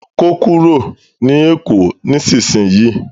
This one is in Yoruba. ko kúrò ní èkó nísìsiyìí!